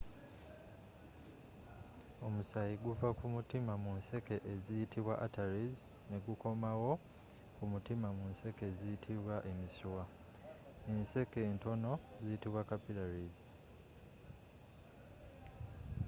omusayii guva kumutiima mu nseeke eziyitibwa arteries negukoomawo kumutiima mu nseeke eziyitibwa emisiiwa.enseeke entono ziyitibwa capillaries